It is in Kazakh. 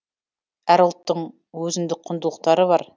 әр ұлттың өзіндік құндылықтары бар